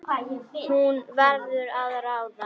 Hún verður að ráða.